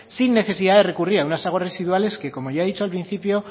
sin necesidad de recurrir a unas aguas residuales que como ya he dicho al principio